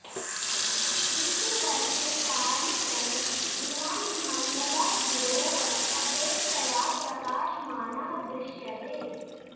किन्तु वर्षे कानिचन दिनानि मङ्गलः गुरोः अपेक्षया प्रकाशमानः दृश्यते